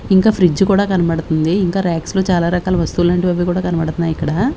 ఇంకా ఫ్రిడ్జ్ కూడా కనబడుతుంది ఇంకా ర్యక్స్ లో చాలా రకాల వస్తువులంటివి అవి కూడా కనబడుతున్నాయి ఇక్కడ.